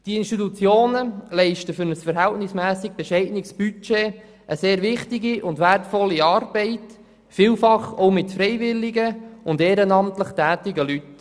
Die Institutionen leisten für ein verhältnismässig bescheidenes Budget eine sehr wichtige und wertvolle Arbeit, vielfach auch mit freiwillig und ehrenamtlich tätigen Leuten.